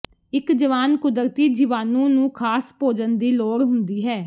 ਇੱਕ ਜਵਾਨ ਕੁਦਰਤੀ ਜੀਵਾਣੂ ਨੂੰ ਖਾਸ ਭੋਜਨ ਦੀ ਲੋੜ ਹੁੰਦੀ ਹੈ